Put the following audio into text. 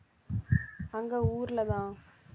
அங்க ஊர்லதான்